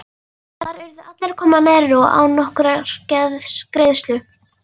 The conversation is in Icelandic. Þar urðu allir að koma nærri og án nokkurrar greiðslu.